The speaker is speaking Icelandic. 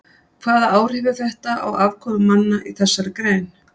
Hvaða áhrif hefur þetta á afkomu manna í þessari grein?